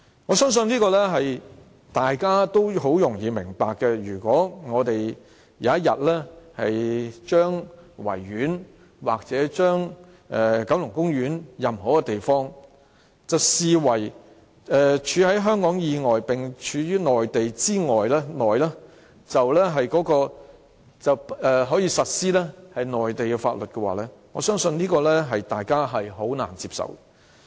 我相信這點大家也很容易明白，如果有天將維多利亞公園或九龍公園的任何一個地方視為"處於香港以外並處於內地以內"，這樣便可實施內地的法律，我相信大家是難以接受的。